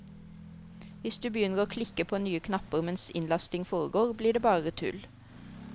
Hvis du begynner å klikke på nye knapper mens innlasting foregår blir det bare tull.